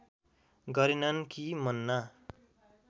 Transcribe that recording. गरेनन् कि मन्ना